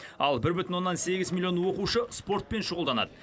ал бір бүтін оннан сегіз миллион оқушы спортпен шұғылданады